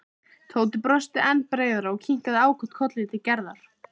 Tóti brosti enn breiðar og kinkaði ákaft kolli til Gerðar.